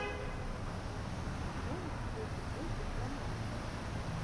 можешь включить мультик про машу